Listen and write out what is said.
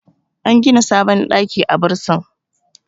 an gida sabon ɗaki a bursin